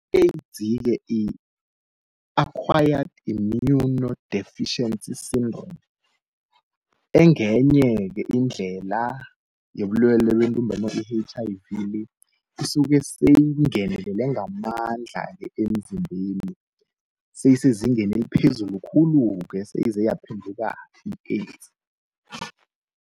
I-AIDS yi-Acquired immunodeficiency syndrome, engenye-ke indlela yobulwele bentumbantonga i-H_I_V le, isuke seyingenelele ngamandla-ke emzimbeni, seyisezingeni eliphezulu khulu-ke seyize yaphenduka i-AIDS.